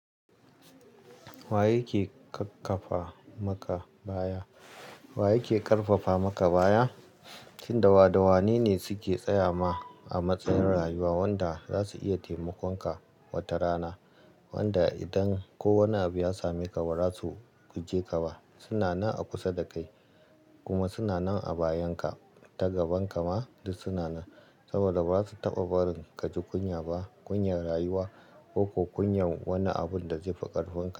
Wa yake ƙaƙƙafa maka baya? Wa yake ƙarfafa maka baya? Tun dawa dawani ne suke tsaya ma a matsayin rayuwa wanda za su iya taimakon ka wata rana. Wanda idan ko wani abu ya same ka ba za su guje ka ba. Suna nan a kusa da kai kuma suna nan a bayanka, ta gaban ka ma duk suna nan saboda ba za su taɓa barin ka ji kunya ba, kunyar rayuwa ko kunyar wani abun da zai fi ƙarfin ka.